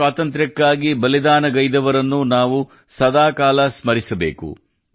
ದೇಶದ ಸ್ವಾತಂತ್ರ್ಯಕ್ಕಾಗಿ ಬಲಿದಾನಗೈದವರನ್ನು ನಾವು ಸದಾ ಕಾಲ ಸ್ಮರಿಸಬೇಕು